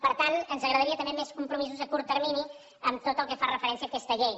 per tant ens agradaria també més compromisos a curt termini en tot el que fa referència a aquesta llei